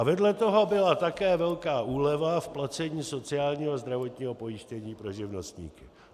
A vedle toho byla také velká úleva v placení sociálního a zdravotního pojištění pro živnostníky.